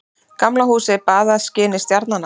Gamla húsið baðað skini stjarnanna.